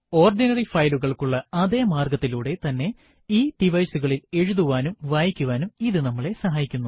ordinary ഫയലുകൾക്കുള്ള അതെ മാർഗത്തിലുടെ തന്നെ ഈ device കളിൽ എഴുതുവാനും വായിക്കുവാനും ഇത് നമ്മളെ സഹായിക്കുന്നു